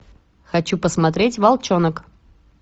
хочу посмотреть волчонок